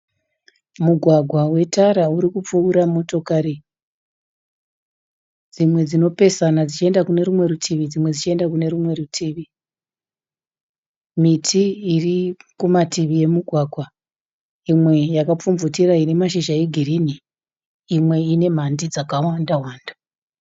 Mugwagwa wetara urikupfuura motokari. Dzimwe dzinopesana dzichienda kune rumwe rutivi dzimwe dzichienda kune rumwe rutivi. Miti irikumativi emugwagwa imwe iri kupfumvutira ine mashizha egirinhi. Imwe ine mhandi dzakawanda wanda.